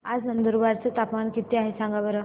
आज नंदुरबार चं तापमान किती आहे सांगा बरं